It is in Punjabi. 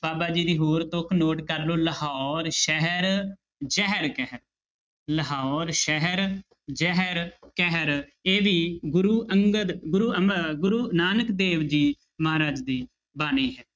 ਬਾਬਾ ਜੀ ਦੀ ਹੋਰ ਤੁੱਕ note ਕਰ ਲਓ ਲਾਹੌਰ ਸ਼ਹਿਰ ਜ਼ਹਿਰ ਕਹਿਰ, ਲਾਹੌਰ ਸ਼ਹਿਰ ਜ਼ਹਿਰ ਕਹਿਰ ਇਹ ਵੀ ਗੁਰੁ ਅੰਗਦ ਗੁਰੂ ਅਮ~ ਗੁਰੂ ਨਾਨਕ ਦੇਵ ਜੀ ਮਹਾਰਾਜ ਦੀ ਬਾਣੀ ਹੈ।